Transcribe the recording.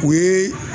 O ye